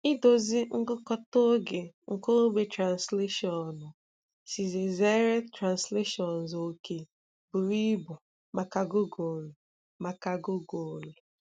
Idòzì ngụ̀kọ̀tà oge nke ogbe translation size zèrè translations ọ̀kè bùrù ìbú maka Google maka Google